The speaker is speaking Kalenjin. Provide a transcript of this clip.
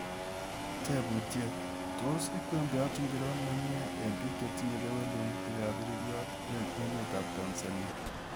Teebuutyet: Tos ikweembeiyaat ngiro nemyie eng' piik chetinye keweelutik ap iriryot ing' emet tanzania.